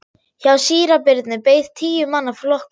Hjá síra Birni beið tíu manna flokkur.